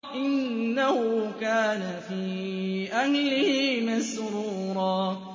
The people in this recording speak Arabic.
إِنَّهُ كَانَ فِي أَهْلِهِ مَسْرُورًا